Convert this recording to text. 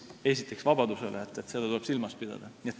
Esiteks vabadusel, seda tuleb silmas pidada.